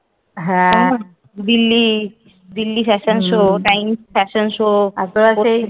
Delhi Delhi fashion show Times fashion show তারপরে সেই